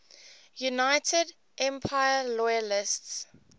united empire loyalists